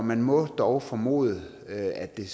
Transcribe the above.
man må dog formode at det